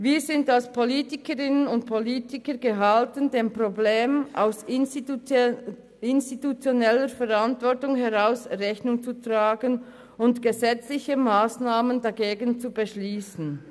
Wir sind als Politikerinnen und Politiker gehalten, dem Problem aus institutioneller Verantwortung heraus Rechnung zu tragen und gesetzliche Massnahmen dagegen zu beschliessen.